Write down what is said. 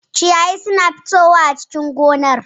Ciyayi suna fitowa a cikin gonar